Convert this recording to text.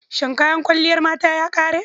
Shin kayan kwalliyar mata ya ƙare?